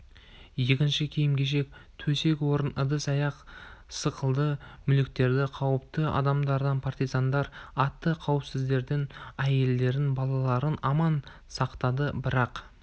екінші киім-кешек төсек-орын ыдыс-аяқ сықылды мүліктер қауіпті адамдарын партизандар атты қауіпсіздерін әйелдерін балаларын аман сақтады бірақ